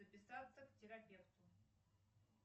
записаться к терапевту